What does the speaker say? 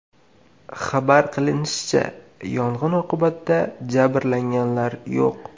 Xabar qilinishicha, yong‘in oqibatida jabrlanganlar yo‘q.